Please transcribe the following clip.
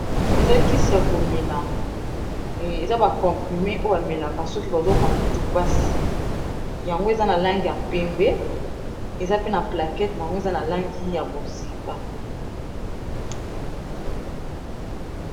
Eza kisi ya ko mela, eza ba comprimés oyo ba melaka soki bazo yoka motu pasi, yango eza na langi ya pembe, eza pe na plaquette n'ango, eza na langi ya bozinga .